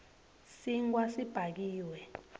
sinkhwa sibhakiwe